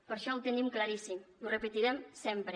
per això ho tenim claríssim i ho repetirem sempre